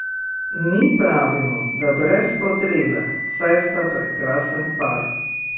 Mi pravimo, da brez potrebe, saj sta prekrasen par!